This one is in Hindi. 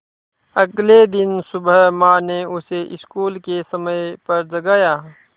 अगले दिन सुबह माँ ने उसे स्कूल के समय पर जगाया